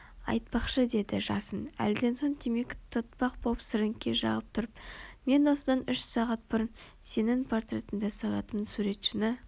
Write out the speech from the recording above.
айтпақшы деді жасын әлден соң темекі тұтатпақ боп сіріңке жағып тұрып мен осыдан үш сағат бұрын сенің портретіңді салатын суретшіні